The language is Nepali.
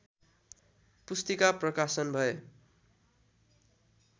पुस्तिका प्रकाशन भए